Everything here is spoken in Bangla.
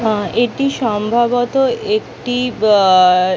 মা এটি সম্ভবত একটি--